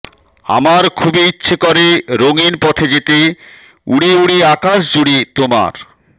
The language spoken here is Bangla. আমার খুবই ইচ্ছে করে রঙিন পথে যেতে উড়ে উড়ে আকাশজুড়ে তোমার